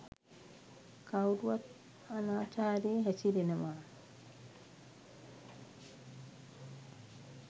කවුරුවත් අනාචාරයේ හැසිරෙනවා